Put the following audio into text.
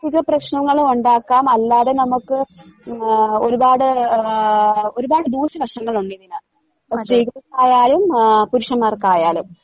ക പ്രശ്നങ്ങളുവൊണ്ടാക്കാം അല്ലാതെ നമ്മക്ക് ഉം ഏഹ് ഒരുപാട് ആ ഒരുപാട് ദൂഷ്യവശങ്ങളൊണ്ടിതിനാത്ത് സ്ത്രീകൾക്കായാലും ആഹ് പുരുഷന്മാർക്കായാലും.